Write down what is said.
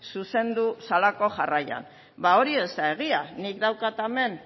zuzendu zelako jarraian ba hori ez da egia nik daukat hemen